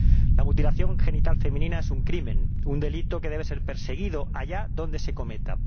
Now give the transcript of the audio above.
La mutilación genital femenina es un crimen, un delito que debe ser perseguido allá donde se cometa.